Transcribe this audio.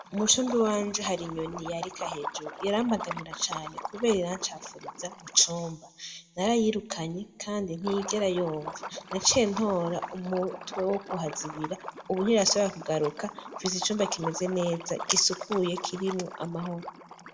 Mu cumba iwanje hari inyoni yarika hejuru irambangamira cane kubera irancafuriza mu cumba narayirukanye kandi nt'iyigera yumva naciye ntora umutwe wo ku hazibira ubu ntirasubira k’ugaruka, Nfise icumba kimeze neza gisukuye kirimwo amahoro.